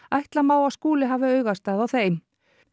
ætla má að Skúli hafi augastað á þeim